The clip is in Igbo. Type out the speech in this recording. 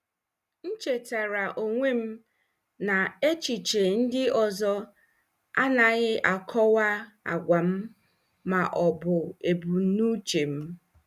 M chetaara onwe m na echiche ndị ọzọ anaghị akọwa agwa m ma ọ bụ ebumnuche m.